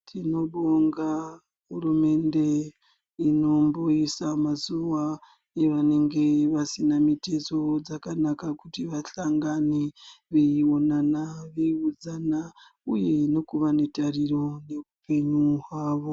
Tinobonga hurumende inomboisa mazuva evanenge vasina mitezo dzakanaka kuti vahlangane. Veionana veiiudzana uye nekuva netariro neupenyu hwavo.